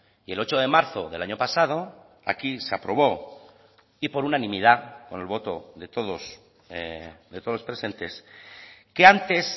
y el ocho de marzo del año pasado aquí se aprobó y por unanimidad con el voto de todos de todos los presentes que antes